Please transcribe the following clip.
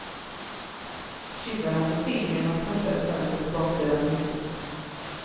Tjuvarna tog sig in genom att krossa ett fönster på baksidan av huset.